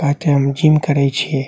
तेए ते हम जिम करे छिए।